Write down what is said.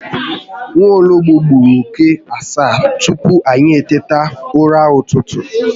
Nwologbo gburu oke asaa tupu anyị eteta ụra ụtụtụ